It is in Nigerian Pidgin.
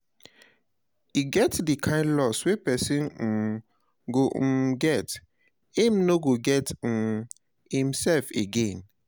E get di kine loss wey person um go um get, im no go get um im self again